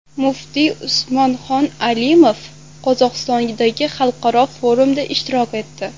Muftiy Usmonxon Alimov Qozog‘istondagi xalqaro forumda ishtirok etdi.